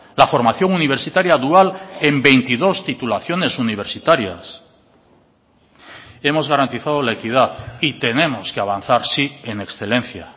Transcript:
la formación universitaria dual en veintidós titulaciones universitarias hemos garantizado la equidad y tenemos que avanzar sí en excelencia